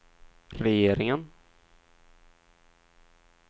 regeringen